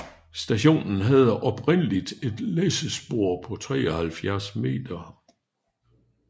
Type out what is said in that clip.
Stationen havde oprindeligt et læssespor på 73 m